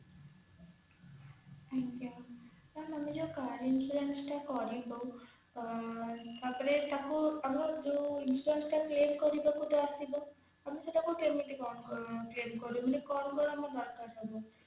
ଆଜ୍ଞା ma'am ଆମେ ଯୋଉ car insurance ଟା କରିବୁ ତାପରେ ତାକୁ ଆମ insurance ତ claim କରିବାକୁ ତ ଆସିବ ଆମେ ସେଟା କୁ କେମିତି କଣ claim ମାନେ କଣ କଣ ଆମର ଦରକାର ପଡିବ